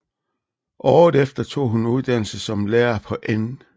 Året efter tog hun uddannelse som lærer på N